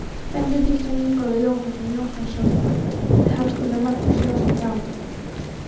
Benediktsson, Ingólfur Jónsson, Jóhann Hafstein og Magnús Jónsson frá